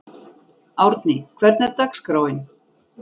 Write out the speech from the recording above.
Árni, hvernig er dagskráin?